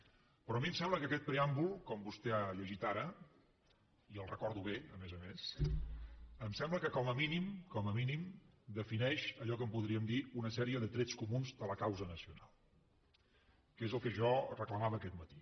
però a mi em sembla que aquest preàmbul com vostè ha llegit ara i el recordo bé a més a més em sembla que com a mínim com a mínim defineix allò que en podríem dir una sèrie de trets comuns de la causa nacional que és el que jo reclamava aquest matí